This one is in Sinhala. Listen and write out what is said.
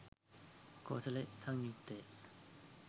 කෝසල සංයුක්තය